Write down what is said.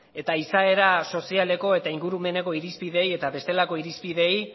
eta izaera sozialeko eta ingurumeneko irizpideei eta bestelako irizpideei